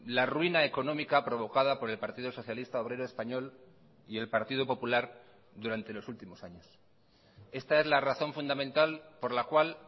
la ruina económica provocada por el partido socialista obrero español y el partido popular durante los últimos años esta es la razón fundamental por la cual